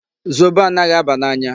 Zobo anaghị aba n'anya.